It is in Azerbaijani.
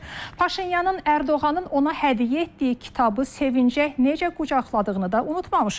Paşinyanın Ərdoğanın ona hədiyyə etdiyi kitabı sevinəcək necə qucaqladığını da unutmamışıq.